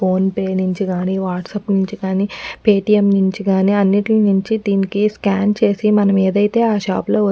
phone pay నుంచిగాని WhatsApp నుంచిగాని Paytm నుంచిగాని అన్నిట్లి నుంచి దీనికి స్కాన్ చేసి మనము ఎదైతే ఆ షాప్ లో --